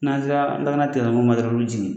N'an sera lakana tigilamɔgɔw ma dɔrɔn olu be jigin